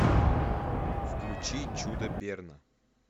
включи чудо берна